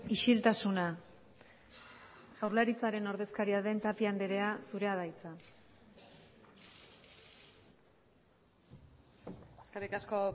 isiltasuna jaurlaritzaren ordezkaria den tapia andrea zurea da hitza eskerrik asko